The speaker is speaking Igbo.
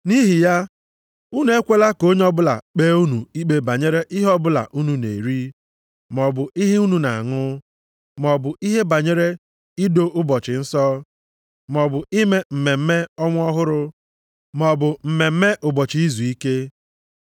Nʼihi ya, unu ekwela ka onye ọbụla kpee unu ikpe banyere ihe ọbụla unu na-eri, maọbụ ihe unu na-aṅụ, maọbụ ihe banyere ido ụbọchị nsọ, maọbụ ime mmemme ọnwa ọhụrụ maọbụ mmemme ụbọchị izuike.